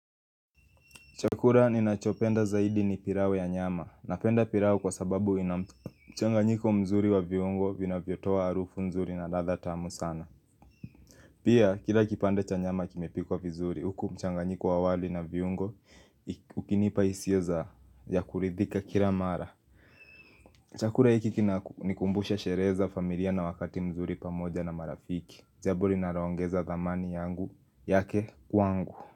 Chakula ninachopenda zaidi ni pirawe ya nyama. Napenda pirawe kwa sababu ina mchanganyiko mzuri wa viungo vinavyotoa harufu nzuri na ladha tamu sana. Pia kila kipande cha nyama kimepikwa vizuri, huku mchanganyiko wa wali na viungo, ukinipa hisia za ya kuridhika kila mara. Chakula hiki kina nikumbusha sherehe za familia na wakati mzuri pamoja na marafiki. Zaburi narawaongeza thamani yangu yake kwangu.